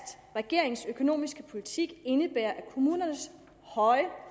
at regeringens økonomiske politik indebærer at kommunernes